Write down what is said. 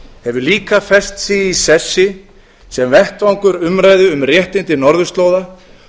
hefur líka fest sig í sessi sem vettvangur umræðu um réttindi norðurslóða